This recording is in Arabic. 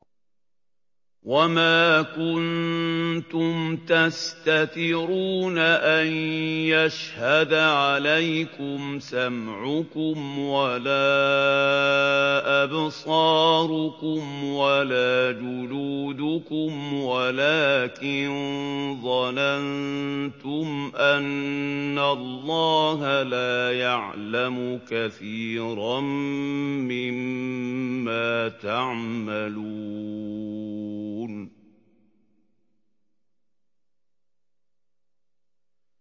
وَمَا كُنتُمْ تَسْتَتِرُونَ أَن يَشْهَدَ عَلَيْكُمْ سَمْعُكُمْ وَلَا أَبْصَارُكُمْ وَلَا جُلُودُكُمْ وَلَٰكِن ظَنَنتُمْ أَنَّ اللَّهَ لَا يَعْلَمُ كَثِيرًا مِّمَّا تَعْمَلُونَ